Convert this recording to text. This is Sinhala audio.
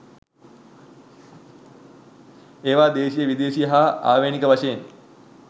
ඒවා දේශීය විදේශීය හා ආවේණික වශයෙන්